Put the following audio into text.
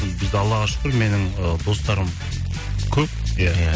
бізде аллаға шүкір менің ы достарым көп иә